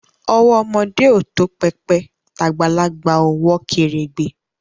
Owo omode o to pepe, t'agbalagba o wo keregbe